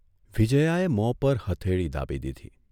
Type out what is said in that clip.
વિજયાએ મોં પર હથેળી દાબી દીધી.